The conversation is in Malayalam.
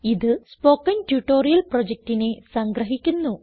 ഇത് സ്പോകെൻ ട്യൂട്ടോറിയൽ പ്രൊജക്റ്റിനെ സംഗ്രഹിക്കുന്നു